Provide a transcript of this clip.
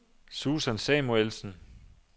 Susan Samuelsen